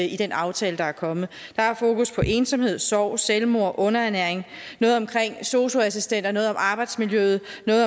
i den aftale der er kommet der er fokus på ensomhed sorg selvmord underernæring noget omkring sosu assistenter noget om arbejdsmiljøet noget